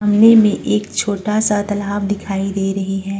सामने में एक छोटा सा तालाब दिखाई दे रही है।